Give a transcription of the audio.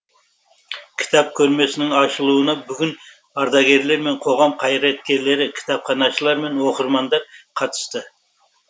кітап көрмесінің ашылуына бүгін ардагерлер мен қоғам қайраткерлері кітапханашылар мен оқырмандар қатысты